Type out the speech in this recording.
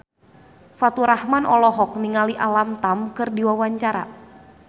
Faturrahman olohok ningali Alam Tam keur diwawancara